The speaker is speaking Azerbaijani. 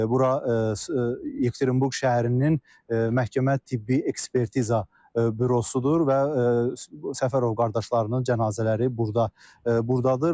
Bura Yekaterinburq şəhərinin məhkəmə-tibbi ekspertiza bürosudur və Səfərov qardaşlarının cənazələri burda burdadır.